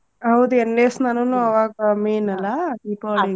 ಹೌದ್ ಎಣ್ಣೆ ಸ್ನಾನಾನು ಅವಾಗ ಅವಾಗ main ಅಲ್ಲಾ ದೀಪಾವಳಿಗೆ.